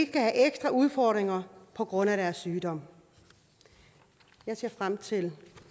skal have ekstra udfordringer på grund af deres sygdom jeg ser frem til